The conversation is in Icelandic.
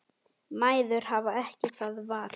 Mæður hafa ekki það val.